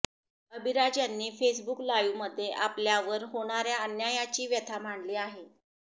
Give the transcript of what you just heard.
अभिराज यांनी फेसबुक लाईव्हमध्ये आपल्यावर होणाऱ्या अन्यायाची व्यथा मांडली आहे